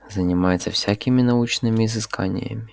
занимается всякими научными изысканиями